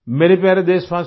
मेरे प्यारे देशवासियो